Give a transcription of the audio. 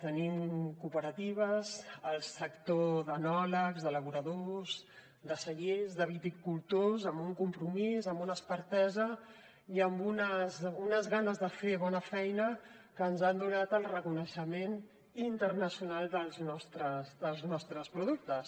tenim cooperatives el sector d’enòlegs d’elaboradors de cellers de viticultors amb un compromís amb una expertesa i amb unes ganes de fer bona feina que ens han donat el reconeixement internacional dels nostres productes